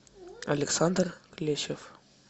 александр клещев